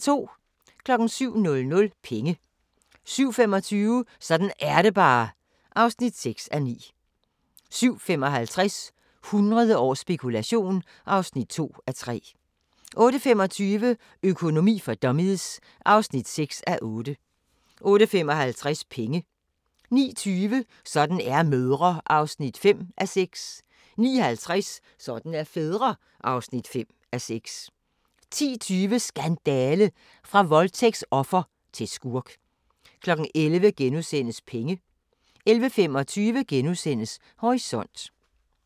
07:00: Penge 07:25: Sådan er det bare (6:9) 07:55: 100 års spekulation (2:3) 08:25: Økonomi for dummies (6:8) 08:55: Penge 09:20: Sådan er mødre (5:6) 09:50: Sådan er fædre (5:6) 10:20: Skandale! – fra voldtægtsoffer til skurk 11:00: Penge * 11:25: Horisont *